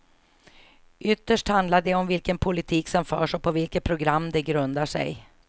Ytterst handlar det om vilken politik som förs och på vilket program den grundar sig.